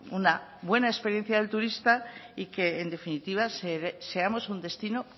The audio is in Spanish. una buena experiencia del turista y que en definitiva seamos un destino